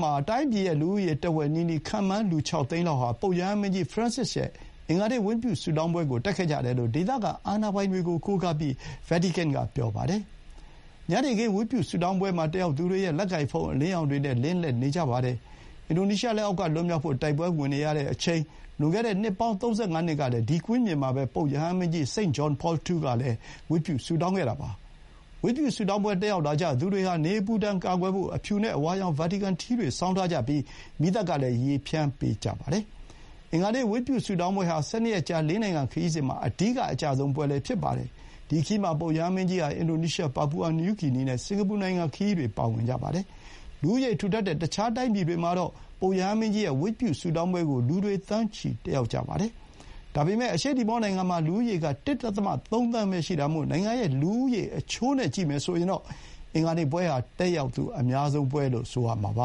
မှာ တိုင်းပြည်ရဲ့ လူဦးရေတဝက်နီးနီး ခန့်မှန်း လူ ၆ သိန်းလောက်ဟာ ပုပ်ရဟန်းမင်းကြီး Francis ရဲ့အင်္ဂါနေ့ ဝတ်ပြု ဆုတောင်းပွဲကို တက်ခဲ့ကြတယ်လို့ ဒေသခံ အာဏာပိုင်တွေကို ကိုးကားပြီး ဗာတီကန်က ပြောပါတယ်။ ညနေခင်း ဝတ်ပြုဆုတောင်းပွဲမှာ တက်ရောက်သူတွေရဲ့ လက်ကိုင်ဖုန်း အလင်းရောင်တွေနဲ့ လင်းလက်နေကြပါတယ်။ အင်ဒိုနီးရှား လက်အောက်က လွတ်မြောက်ဖို့ တိုက်ပွဲဝင်နေရတဲ့အချိန်၊ လွန်ခဲ့တဲ့ နှစ်ပေါင်း ၃၅ နှစ်ကလည်း ဒီ ကွင်းပြင်မှာပဲပုပ်ရဟန်းမင်းကြီး St. John Paul II ကလည်း ဝတ်ပြု ဆုတောင်းခဲ့တာပါ။ ဝတ်ပြုဆုတောင်းပွဲ တက်ရောက်လာကြသူတွေဟာ နေအပူဒဏ်ကာကွယ်ဖို့ အဖြူနဲ့အဝါရောင် ဗာတီကန်ထီးတွေ ဆောင်းထားကြပြီး မီးသတ်ကလည်း ရေဖျန်းပေးကြပါတယ်။ အင်္ဂါနေ့ ဝတ်ပြုဆုတောင်းပွဲဟာ ၁၂ ရက်ကြာ ၄ နိုင်ငံခရီးစဥ် မှာ အဓိကအကျဆုံးပွဲလည်း ဖြစ်ပါတယ်။ ဒီခရီးမှာ ပုပ်ရဟန်းမင်းကြီးဟာ အင်ဒိုနီးရှား၊ ပါပူအာ နယူးဂီနီ နဲ့ စင်္ကာပူနိုင်ငံခရီးတွေ ပါဝင်ကြပါတယ်။ လူဦးရေထူထပ်တဲ့ တခြားတိုင်းပြည်တွေမှာတော့ ပုပ်ရဟန်းမင်းကြီးရဲ့ ဝတ်ပြုဆုတောင်းပွဲကို လူတွေသန်းချီ တက်ရောက်ကြတာပါ။ ဒါပေမဲ့ အရှေ့တီမောနိုင်ငံမှာ လူဦးရေက ၁.၃ သန်းပဲ ရှိတာမို့ နိုင်ငံရဲ့ လူဦးရေ အချိုးနဲ့ ကြည့်မယ်ဆိုရင် အင်္ဂါနေ့ပွဲဟာ တက်ရောက်သူအများဆုံးပွဲလို့ ဆိုရမှာပ